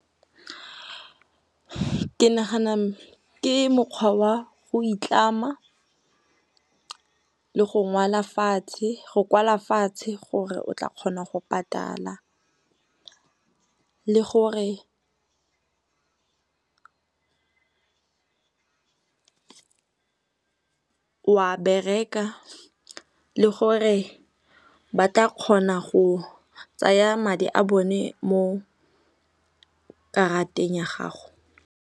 Ke nagana ke mokgwa wa go itlama, le go kwala fatshe gore o tla kgona go patala, le gore o a bereka le gore ba tla kgona go tsaya madi a bone mo karateng ya gago.